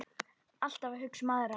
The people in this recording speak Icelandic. Alltaf að hugsa um aðra.